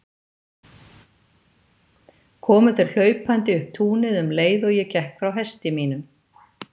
Komu þeir hlaupandi upp túnið um leið og ég gekk frá hesti mínum.